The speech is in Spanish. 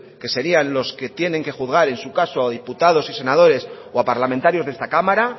que serían los que tienen que juzgar en su caso a diputados y senadores o a parlamentarios de esta cámara